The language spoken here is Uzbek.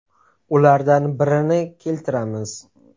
Ulardan birini keltiramiz.